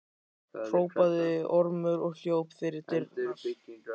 hrópaði Ormur og hljóp fyrir dyrnar.